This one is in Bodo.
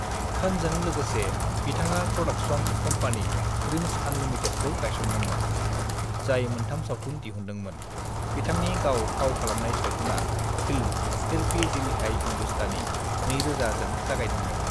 "खानजों लोगोसे, बिथाङा प्रडाक्शन कम्पनि ड्रीम्ज अनलिमिटेडखौ गायसनदोंमोन, जाय मोनथाम सावथुन दिहनदोंमोन, बिथांनि गाव फाव खालामनाय सावथुना फिल्म 'फिर भी दिल है हिंदुस्तानी'(2000) जों जागायदोंमोन।"